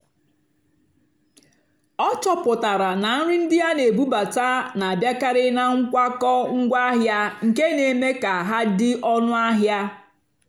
ọ́ chọ́pụ́tárá nà nrì ndí á nà-èbúbátá nà-àbịákàrị́ nà nkwákó ngwáàhịá nkè nà-èmékà hà dì́ ónú àhịá.